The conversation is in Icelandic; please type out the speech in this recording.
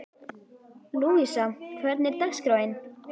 Lúísa, hvernig er dagskráin?